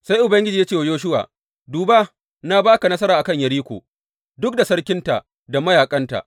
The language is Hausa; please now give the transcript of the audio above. Sai Ubangiji ya ce wa Yoshuwa, Duba, na ba ka nasara a kan Yeriko, duk da sarkinta da mayaƙanta.